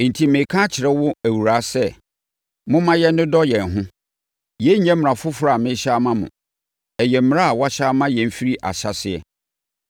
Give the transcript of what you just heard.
Enti, mereka akyerɛ wo, Awuraa sɛ, momma yɛnnodɔ yɛn ho. Yei nyɛ mmara foforɔ a merehyɛ ama wo. Ɛyɛ mmara a wɔahyɛ ama yɛn firi ahyɛaseɛ.